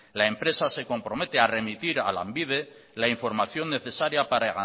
la empresa se compromete a remitir a lanbide la información necesaria para